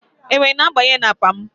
Enwe na-abanye n'akpa m.